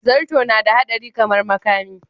Zarto nada hadari kamar makami.